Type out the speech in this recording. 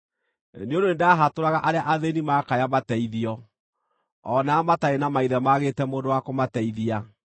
nĩ ũndũ nĩndahatũraga arĩa athĩĩni maakaya mateithio, o na arĩa mataarĩ na maithe maagĩte mũndũ wa kũmateithia.